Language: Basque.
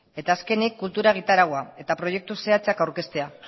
eta azkenik kultura egitaraua eta proiektu zehatzak aurkeztea